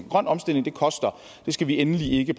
grøn omstilling koster og vi skal endelig ikke